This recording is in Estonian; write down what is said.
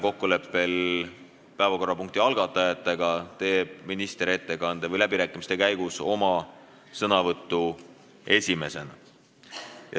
Kokkuleppel päevakorrapunkti algatajatega võtab minister läbirääkimiste käigus sõna esimesena.